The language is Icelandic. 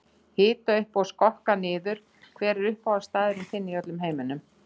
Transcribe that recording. Hita upp og skokka sig niður Hver er uppáhaldsstaðurinn þinn í öllum heiminum?